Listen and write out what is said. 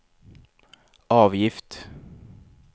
avgift